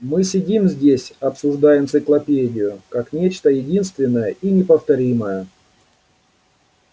мы сидим здесь обсуждая энциклопедию как нечто единственное и неповторимое